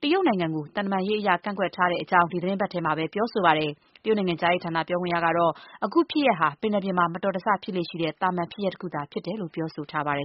ပြီး တရုတ်နိုင်ငံကို သံတမန်ရေးအရ ကန့်ကွက်ထားတဲ့ အကြောင်း ဒီသီတင်းပတ်ထဲမှာပဲ ပြောဆိုပါတယ်။ တရုတ်နိုင်ငံခြားရေးဌာန ပြောခွင့်ရကတော့ အခုဖြစ်ရပ်ဟာ ပင်လယ်ပြင်မှာ မတော်တဆဖြစ်လေ့ရှိတဲ့ သာမန် ဖြစ်ရပ်တခုသာဖြစ်တယ်လို့ ပြောဆိုထားပါတယ်